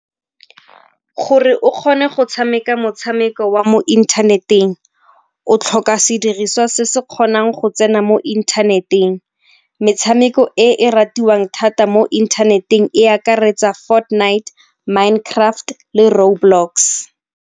Gore o kgone go tshameka motshameko wa mo inthaneteng o tlhoka sediriswa se se kgonang go tsena mo inthaneteng. Metshameko e ratiwang thata mo inthaneteng e akaretsa , mind craft le road blocks.